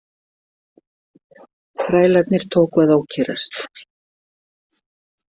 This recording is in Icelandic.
Þrælarnir tóku að ókyrrast.